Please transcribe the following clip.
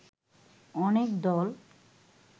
অনেক দল